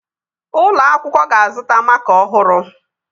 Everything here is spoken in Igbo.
Ụlọ akwụkwọ ga-azụta makaa ọhụrụ